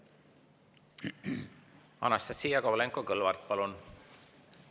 Anastassia Kovalenko-Kõlvart, palun!